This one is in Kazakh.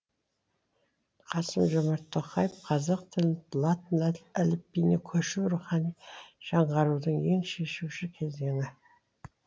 қасым жомарт тоқаев қазақ тілінің латын әліпбиіне көшуі рухани жаңғарудың ең шешуші кезеңі